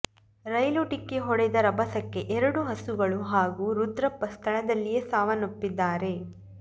ರೈಲು ಡಿಕ್ಕಿ ಹೊಡೆದ ರಭಸಕ್ಕೆ ಎರಡು ಹಸುಗಳು ಹಾಗೂ ರುದ್ರಪ್ಪ ಸ್ಥಳದಲ್ಲಿಯೇ ಸಾವನ್ನಪ್ಪಿದ್ದಾರೆ